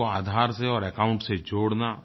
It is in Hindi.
उनको आधार से और एकाउंट से जोड़ना